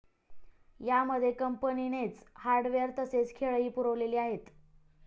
या मध्ये कंपनीनेच हार्डवेअर तसेच खेळही पुरवलेली आहेत.